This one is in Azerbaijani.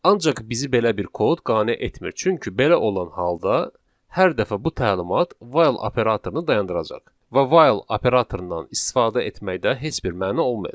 Ancaq bizi belə bir kod qane etmir, çünki belə olan halda hər dəfə bu təlimat 'while' operatorunu dayandıracaq və 'while' operatorundan istifadə etməkdə heç bir məna olmayacaq.